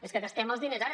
és que gastem els diners ara